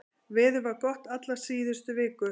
Veður var gott alla síðustu viku